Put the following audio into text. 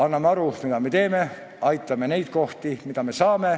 Anname endale aru, mida me teeme, ja aitame neid kohti, mida me saame.